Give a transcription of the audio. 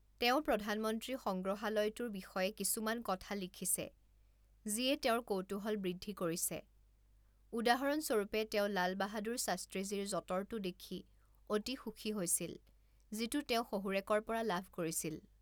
তেওঁ প্ৰধানমন্ত্ৰী সংগ্ৰহালয়টোৰ বিষয়ে কিছুমান কথা লিখিছে যিয়ে তেওঁৰ কৌতূহল বৃদ্ধি কৰিছে, উদাহৰণ স্বৰূপে, তেওঁ লাল বাহাদুৰ শাস্ত্ৰীজীৰ যঁতৰটো দেখি অতি সুখী হৈছিল, যিটো তেওঁ শহুৰেকৰ পৰা লাভ কৰিছিল।